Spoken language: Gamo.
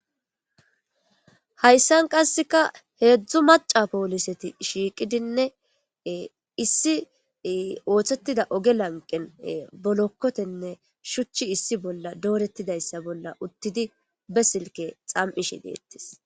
hayssan qasseka heedzdzu maca pooliseti shiiqidinne issi ooththettida oge lanqen bolokkotenne shuchchi issi bolla doorettidayssa bolla uttidi be silke xam7ishe deettis